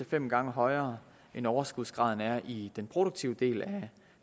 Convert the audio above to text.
fem gange højere end overskudsgraden er i den produktive del af